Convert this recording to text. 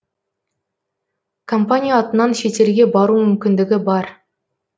компания атынан шетелге бару мүмкіндігі бар